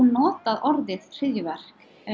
notað orðið hryðjuverk